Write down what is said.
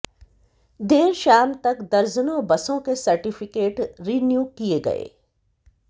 देर शाम तक दर्जनों बसों के सर्टिफिकेट रिन्यू किए गए